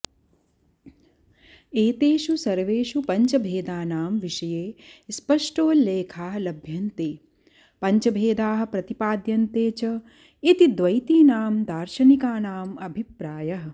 एतेषु सर्वेषु पञ्चभेदानां विषये स्पष्टोल्लेखाः लभ्यन्ते पञ्चभेदाः प्रतिपाद्यन्ते च इति द्वैतीनां दार्शनिकानाम् अभिप्रायः